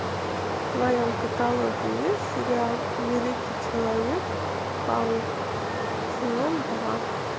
в твоем каталоге есть сериал великий человек паук сезон два